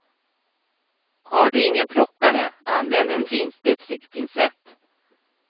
Har du ingen plockare, använd en finspetsig pincett.